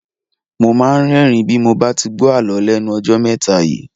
Mo máa ń rẹ́ẹ̀rín bí mo bá ti gbó Àlọ́ lẹ́nu ọjọ́ mẹ́ta yìí.